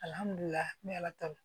ala ta don